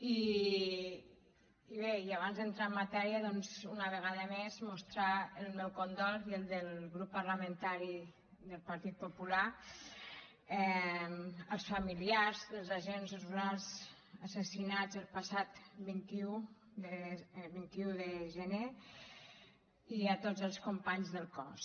i bé i abans d’entrar en matèria doncs una vegada més mostrar el meu condol i el del grup parlamentari del partit popular als familiars dels agents rurals assassinats el passat vint un de gener i a tots els companys del cos